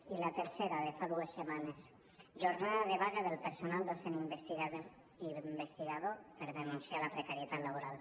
i la tercera de fa dues setmanes jornada de vaga del personal docent i investigador per denunciar la precarietat laboral